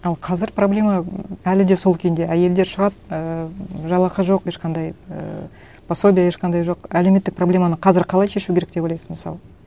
ал қазір проблема әлі де сол күйінде әйелдер шығады ііі жалақы жоқ ешқандай ііі пособие ешқандай жоқ әлеуметтік проблеманы қазір қалай шешу керек деп ойлайсыз мысалы